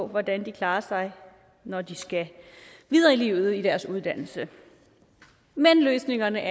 hvordan de klarer sig når de skal videre i livet i deres uddannelse men løsningerne er